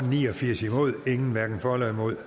ni og firs hverken for eller imod